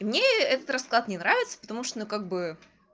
мне этот расклад не нравится потому что ну как бы